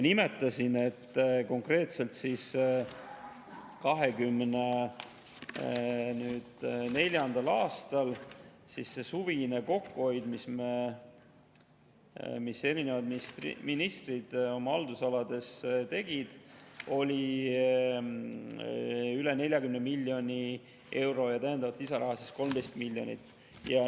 Nimetasin, et konkreetselt 2024. aastal oli suvine kokkuhoid, mille erinevad ministrid oma haldusalades tegid, üle 40 miljoni euro ja täiendavat lisaraha 13 miljonit.